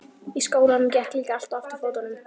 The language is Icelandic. Í skólanum gekk líka allt á afturfótunum.